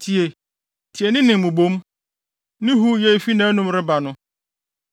Tie! Tie ne nne mmubomu, ne huuyɛ a efi nʼanom reba no.